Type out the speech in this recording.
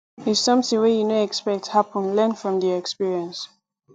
if something wey you no expect happen learn from the experience